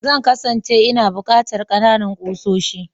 Zan kasance ina buƙatar kanana ƙusoshi.